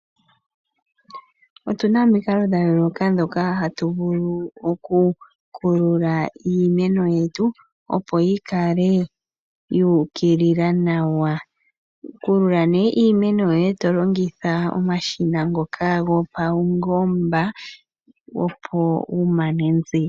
Otu na omikalo dha yooloka ndhoka hatu vulu okukulula iimeno yetu, opo yi kale yuukilila nawa. Kulula nee iimeno yoye to longitha omashina ngoka gopaungomba opo wu mane nziya.